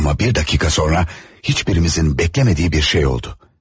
Amma bir dəqiqə sonra heç birimizin gözləmədiyi bir şey oldu.